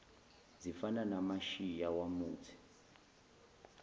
zifana namashiya yamuthi